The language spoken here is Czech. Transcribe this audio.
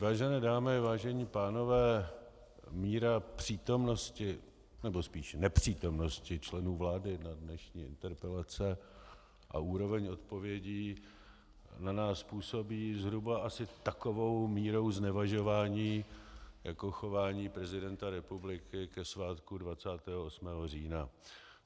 Vážené dámy, vážení pánové, míra přítomnosti, nebo spíš nepřítomnosti členů vlády na dnešních interpelacích a úroveň odpovědí na nás působí zhruba asi takovou mírou znevažování jako chování prezidenta republiky ke svátku 28. října.